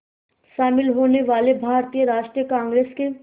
शामिल होने वाले भारतीय राष्ट्रीय कांग्रेस के